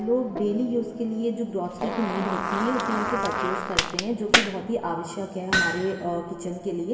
लोग daily use के लिए जो ग्रासिरी की नीड होती है। उसे यहाँ से परचेज करते हैं जोकि बहोत ही आवश्यक है हमारे अ किचन के लिए।